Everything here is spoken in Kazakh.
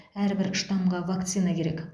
әрбір штамға вакцина керек